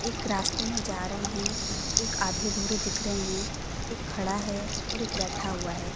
एक रास्ते में जा रहे हैं एक आधे अधूरे दिख रहे हैं खड़ा है और एक बैठा हुआ है।